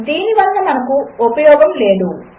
దీనివలనమనకుఉపయోగములేదు